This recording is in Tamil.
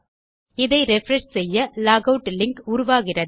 இதை ரிஃப்ரெஷ் செய்ய லாக் ஆட் லிங்க் உருவாகிறது